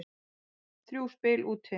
Þrjú spil úti.